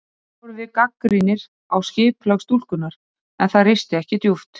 Þannig vorum við gagnrýnir á sköpulag stúlkunnar, en það risti ekki djúpt.